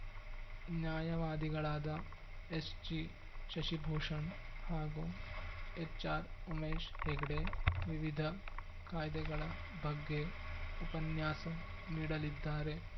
ನ್ಯಾಯವಾದಿಗಳಾದ ಎಸ್‌ಜಿಶಶಿಭೂಷಣ್‌ ಹಾಗೂ ಎಚ್‌ಆರ್‌ಉಮೇಶ್‌ ಹೆಗ್ಡೆ ವಿವಿಧ ಕಾಯ್ದೆಗಳ ಬಗ್ಗೆ ಉಪನ್ಯಾಸ ನೀಡಲಿದ್ದಾರೆ